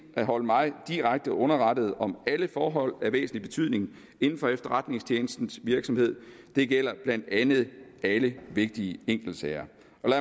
at holde mig direkte underrettet om alle forhold af væsentlig betydning inden for efterretningstjenestens virksomhed det gælder blandt andet alle vigtige enkeltsager